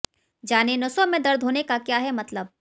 जानें नसों में दर्द होने का क्या है मतलब